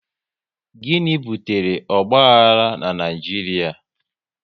Gịnị butere ogbahara n'Naijiria?